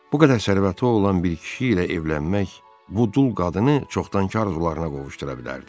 Bu qədər sərvəti olan bir kişi ilə evlənmək bu dul qadını çoxdankar arzularına qovuşdura bilərdi.